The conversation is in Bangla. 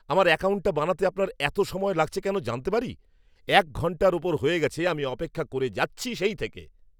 আমার অ্যাকাউন্টটা বানাতে আপনার এত সময় লাগছে কেন জানতে পারি? এক ঘণ্টার ওপর হয়ে গেছে আমি অপেক্ষা করেই যাচ্ছি সেই থেকে।